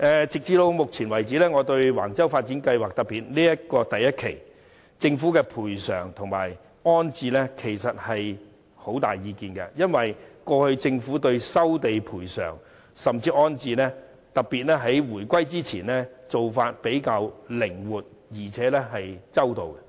直至目前為止，就着橫洲發展計劃，我對政府的賠償和安置很有意見，因為政府過去對於收地賠償，甚至安置的做法較為靈活，而且周到。